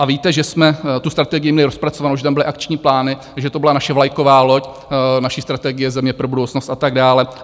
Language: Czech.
A víte, že jsme tu strategii měli rozpracovánu, že tam byly akční plány, že to byla naše vlajková loď, naše Strategie země pro budoucnost a tak dále.